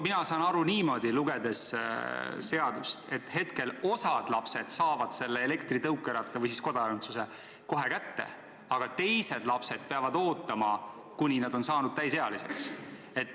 Mina saan seadust lugedes aru niimoodi, et praegu osa lapsi saab elektritõukeratta või siis kodakondsuse kohe kätte, aga teised lapsed peavad ootama, kuni nad on saanud täisealiseks.